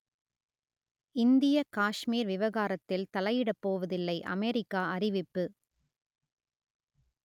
இந்தியக் காஷ்மீர் விவகாரத்தில் தலையிடப் போவதில்லை அமெரிக்கா அறிவிப்பு